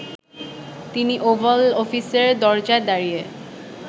তিনি ওভাল অফিসের দরজায় দাঁড়িয়ে